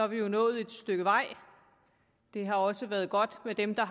vi jo nået et stykke vej det har også været godt med dem der